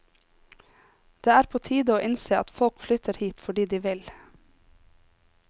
Det er på tide å innse at folk flytter hit fordi de vil.